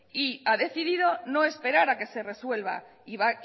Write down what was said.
y ha decidido no esperar a que se resuelva